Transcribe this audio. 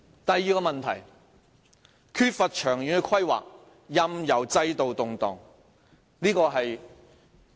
第二個問題，是缺乏長遠規劃，任由制度動盪。